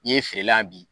N'i ye feere la bi